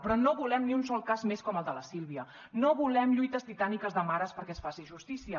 però no volem ni un sol cas més com el de la sílvia no volem lluites titàniques de mares perquè es faci justícia